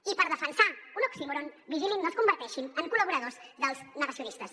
i per defensar un oxímoron vigilin que no es converteixin en col·laboradors dels negacionistes